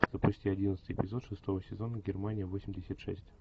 запусти одиннадцатый эпизод шестого сезона германия восемьдесят шесть